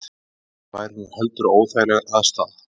Það væri nú heldur óþægileg aðstaða